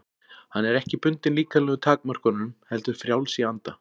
Hann er ekki bundinn líkamlegum takmörkunum heldur frjáls í anda.